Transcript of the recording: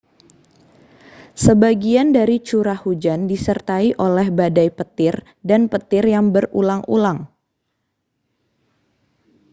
sebagian dari curah hujan disertai oleh badai petir dan petir yang berulang-ulang